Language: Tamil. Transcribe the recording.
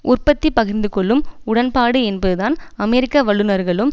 உற்பத்தி பகிர்ந்துகொள்ளும் உடன்பாடு என்பதுதான் அமெரிக்க வல்லுனர்களும்